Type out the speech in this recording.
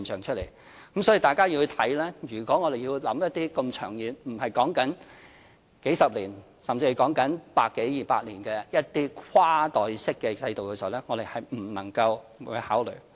所以，大家要看，如果我們要構思一些這麼長遠——不是數十年——甚至是百多二百年的一些跨代式制度時，我們不能夠不考慮。